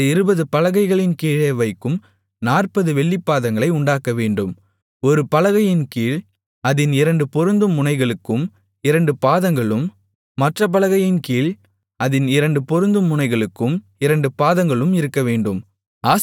அந்த இருபது பலகைகளின்கீழே வைக்கும் நாற்பது வெள்ளிப் பாதங்களை உண்டாக்கவேண்டும் ஒரு பலகையின் கீழ் அதின் இரண்டு பொருந்தும் முனைகளுக்கும் இரண்டு பாதங்களும் மற்றப் பலகையின் கீழ் அதின் இரண்டு பொருந்தும் முனைகளுக்கும் இரண்டு பாதங்களும் இருக்கவேண்டும்